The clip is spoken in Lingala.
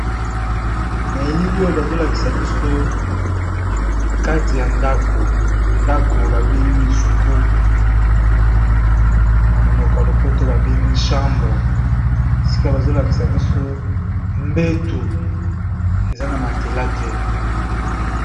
N'a elili oyo bazolakisa na katiyandaku, ndako nabengi suku namonoko yalopoto ba bengi chambre esika bazolakisa biso mbetu eza na matelas te'